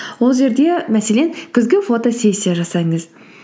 ол жерде мәселен күзгі фотосессия жасаңыз